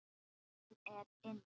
Hann er inni.